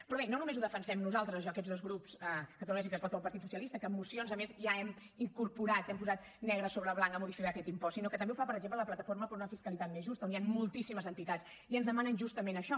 però bé no només ho defensem nosaltres jo aquests dos grups catalunya sí que es pot o el partit socialista que en mocions a més ja hem incorporat hem posat negre sobre blanc a modificar aquest impost sinó que també ho fa per exemple la plataforma per una fiscalitat justa on hi han moltíssimes entitats i ens demanen justament això